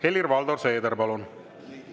Helir-Valdor Seeder, palun!